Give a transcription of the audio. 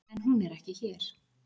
En hún er ekki hér.